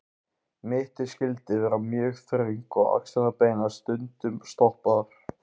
Mittið skyldi vera mjög þröngt og axlirnar beinar, stundum stoppaðar.